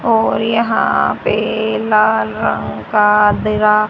और यहां पे लाल रंग का देरा--